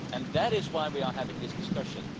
That is why we are having this discussion.